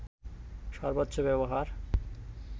সর্বোচ্চ ব্যবহার